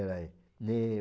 nem o